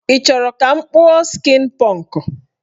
Ị chọrọ ka m kpụọ skin pọnk?